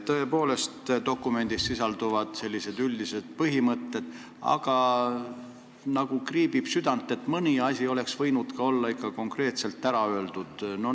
Tõepoolest, dokumendis sisalduvad sellised üldised põhimõtted, aga nagu kriibib südant, et mõni asi oleks võinud olla ikka konkreetselt ära öeldud.